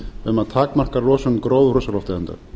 um að takmarka losun gróðurhúsalofttegunda